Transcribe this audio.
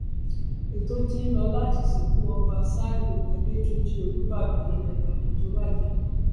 ètò ti ń lò láti sìnkú ọba ṣálíù àdètúnjì olùbàdàn ilẹ ìbàdàn tó wájà